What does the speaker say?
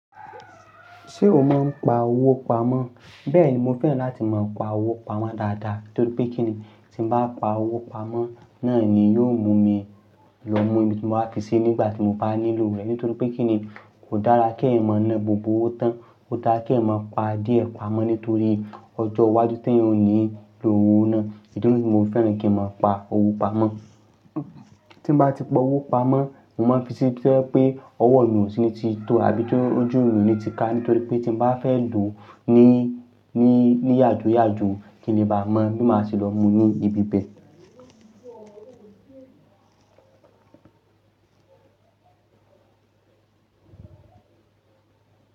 Ṣé o máa ń pa owó pamọ́? Bẹ́ẹ̀ni, mo fẹ́ràn láti máa pa owó pamọ́ dáadáa nítorí pé kíni tí mo bá pa owó pamọ́ náà ni yóò mú mi lọ mú ibi tí mo máa fi sí nígbà tí mo bá nílò rẹ̀ nítorí pé kíni kò dára kí ẹ̀eyan mọ́ na gbogbo ówo tán. Oò dára kí ẹ̀eyan mọ́ pa díẹ̀ pamọ́ nítorí ọjọ́ iwájú tí ẹ̀yin ò ní lo owó náà. Èyí ni tí mo fẹ́ràn kí n máa pa owó pamọ́. Tí mo bá ti pa owó pamọ́, mo máa fi sí bi to je pé ọwọ́ eeyan ò sí ní ti tó àbí tí ojú mi ò ní ti ká nítorí pé tí mo bá fẹ́ lò ó ní, ní, ní yàjoyàjo kí le bá mọ́ bí ma ṣe lọ mú ní ibi bẹ́ẹ̀